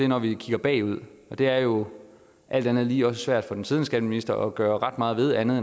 når vi kigger bagud det er jo alt andet lige også svært for den siddende skatteminister at gøre ret meget andet